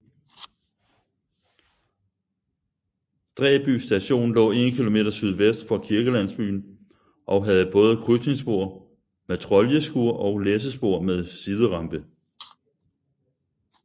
Dræby Station lå 1 km sydvest for kirkelandsbyen og havde både krydsningsspor med troljeskur og læssespor med siderampe